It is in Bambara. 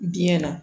Biyɛn na